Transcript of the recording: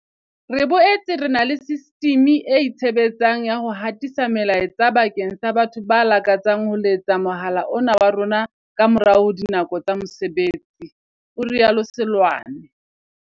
Re boetse re na le sistimi e itshe betsang ya ho hatisa melaetsa bakeng sa batho ba lakatsang ho letsetsa mohala ona wa rona ka morao ho dinako tsa mose betsi, o rialo Seloane.